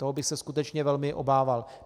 Toho bych se skutečně velmi obával.